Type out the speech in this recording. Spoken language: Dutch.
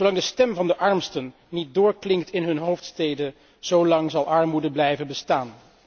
Zolang de stem van de armsten niet doorklinkt in hun hoofdsteden, zo lang zal armoede blijven bestaan.